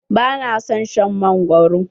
Ba na son shan mangwaro.